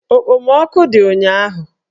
Okpomọkụ dị ụnyaahụ